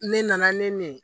Ne nana ne min ye